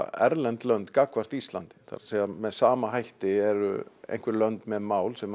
erlend lönd gagnvart Íslandi með sama hætti eru einhver lönd með mál sem